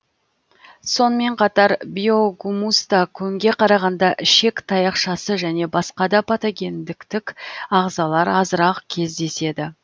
сонымен қатар биогумуста көңге қарағанда ішек таяқшасы және басқа да патогендіктік ағзалар азырақ кездеседі